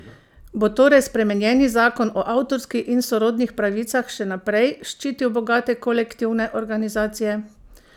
Bo torej spremenjeni zakon o avtorski in sorodnih pravicah še naprej ščitil bogate kolektivne organizacije?